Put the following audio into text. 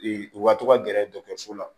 u ka to ka gɛrɛ dɔkɔtɔrɔso la